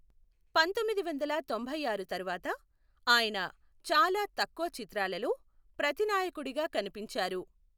పంతొమ్మిది వందల తొంభై ఆరు తరువాత, ఆయన చాలా తక్కువ చిత్రాలలో ప్రతినాయకుడిగా కనిపించారు.